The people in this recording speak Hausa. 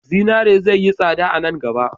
Zinare zai yi tsada a nan gaba.